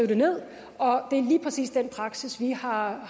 det ned og det er lige præcis den praksis jeg har